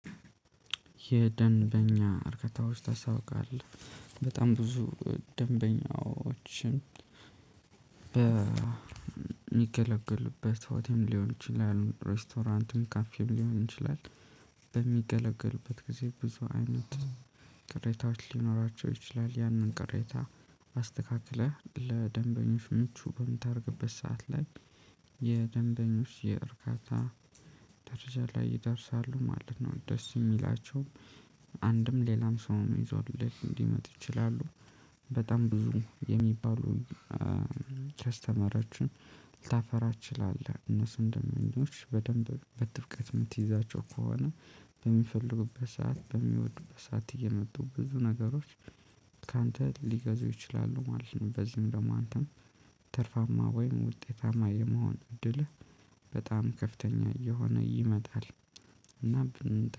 የደንበኛ እርከታዎች ታስታውቃለህ በጣም ብዙ ደንበኛዎችን በሚገለገልበት ሆቴል ሊሆን ይችላል ሬስቶራንቱን ካፌም ሊሆን ይችላል በሚገለገሉበት ጊዜ ብዙ አይነት ቅሬታዎች ሊኖራቸው ይችላል ያንን ቅሬታ አስተካክለህ ለደንበኞች ምቹ በምታደርግበት ሰዓት ላይ የደንበኞች የእርካታ ደረጃ ላይ ይደርሳሉ ማለት ነው። ደስ ሚላቸውም አንድም ሌላም ሰው ይዞልህ ሊመጣ ይችላል። በጣም ብዙ የሚባሉን ከስተመሮችን ልታፈራ ትችላለህ እነሱን ደምበኞች በደንብ በትብቀት የምትይዛቸው ከሆነ። በሚፈልጉበት ሰዓት በሚወዱበት ሰዓት እየመጡ ብዙ ነገሮች ካንተ ሊገዙ ይችላሉ ማለት ነው። በዚህም ደግሞ አንተም ትርፋማ ወይም ውጤታማ የመሆን እድልህ በጣም ከፍተኛ እየሆነ ይመጣል። እና